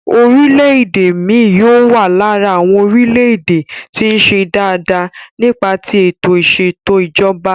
Orílè èdè mi yóò wà lára àwọn orílẹ̀-èdè tí ń ṣe dáa dáa nípa tí ètò ìsètò ìjọba.